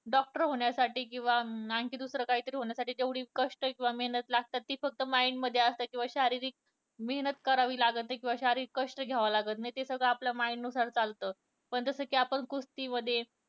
Doctor होण्यासाठी किंवा आणखी दुसरे काय होण्यासाठी तेवढी कष्ट किंवा मेहनत लागतात ती फक्त mind मध्ये असतं किंवा शारीरिक मेहनत करावी लागतं नाही किंवा कष्ट घ्यावे लागत नाही, ते सगळं आपल्या mind नुसार चालतं पण जसं कि आपण कुस्तीमध्ये